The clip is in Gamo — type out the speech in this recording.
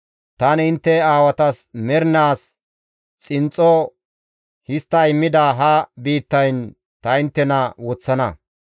tani intte aawatas mernaas xinxxo histta immida ha biittayn ta inttena woththana.